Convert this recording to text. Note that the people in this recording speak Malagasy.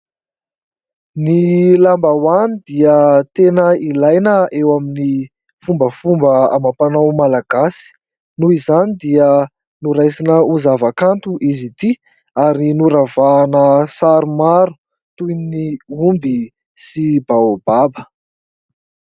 Ny lambahoany dia tena ilaina eo amin'ny fombafomba amam-panao Malagasy. Noho izany dia noraisina ho zavakanto izy ity ary noravahana sary maro toy ny omby sy baobab.